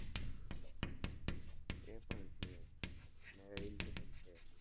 એ પણ છે,